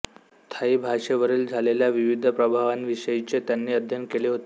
Thai भाषेवरील झालेल्या विविध प्रभावांविषयीचे त्यांनीे अध्ययन केले होते